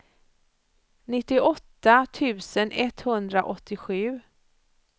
nittioåtta tusen etthundraåttiosju